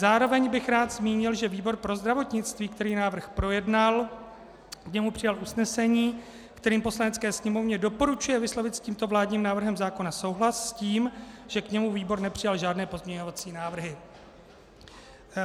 Zároveň bych rád zmínil, že výbor pro zdravotnictví, který návrh projednal, k němu přijal usnesení, kterým Poslanecké sněmovně doporučuje vyslovit s tímto vládním návrhem zákona souhlas s tím, že k němu výbor nepřijal žádné pozměňovací návrhy.